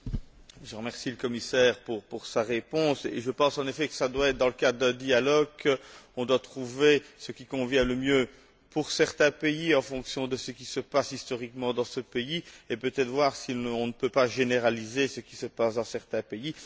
Je remercie Monsieur le Commissaire pour sa réponse et je pense, en effet, que cela doit être dans le cadre d'un dialogue qu'on doit trouver ce qui convient le mieux pour certains pays, en fonction de ce qui se passe historiquement dans ces pays et, peut être, voir si on ne peut pas généraliser ce qui se passe dans certains pays.